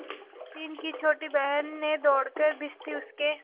मोहसिन की छोटी बहन ने दौड़कर भिश्ती उसके